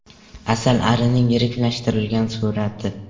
Asalarining yiriklashtirilgan surati.